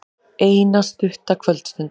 Eina stutta kvöldstund.